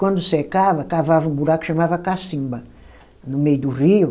Quando secava, cavava um buraco e chamava cacimba, no meio do rio.